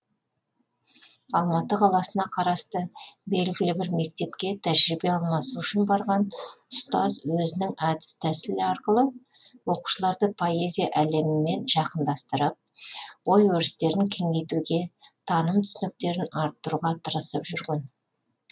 алматы қаласына қарасты белгілі бір мектепке тәжірибе алмасу үшін барған ұстаз өзінің әдіс тәсіл арқылы оқушыларды поэзия әлемімен жақынданстырып ой өрістерін кеңейтуге таным түсініктерін арттыруға тырысып жүрген